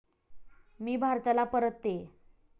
मी भारताला परततेय.